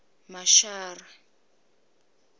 mashara